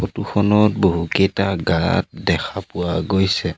ফটোখনত বহুকেইটা গাঁত দেখা পোৱা গৈছে।